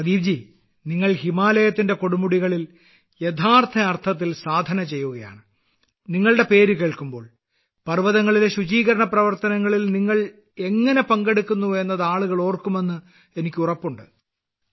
പ്രദീപ് നിങ്ങൾ ഹിമാലയത്തിന്റെ കൊടുമുടികളിൽ യഥാർത്ഥ അർത്ഥത്തിൽ സാധന ചെയ്യുകയാണ് നിങ്ങളുടെ പേര് കേൾക്കുമ്പോൾ പർവതങ്ങളിലെ ശുചീകരണ പ്രവർത്തനങ്ങളിൽ നിങ്ങൾ എങ്ങനെ പങ്കെടുക്കുന്നു എന്നത് ആളുകൾ ഓർക്കുമെന്ന് എനിക്ക് ഉറപ്പുണ്ട്